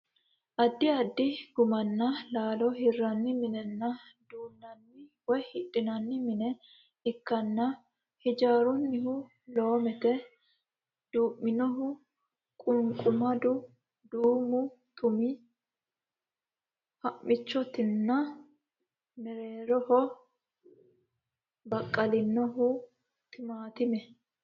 Addi addi gummanna laalo hirranni minenna duunnanni woy hidhinanni mine ikkanna haajirinohu loomete, duu'minohu qunqumado duumu tumi ha'michootinna mereeho baqqalinohu timaatimete.